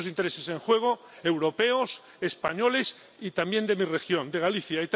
Hay muchos intereses en juego, europeos, españoles y también de mi región, de Galicia.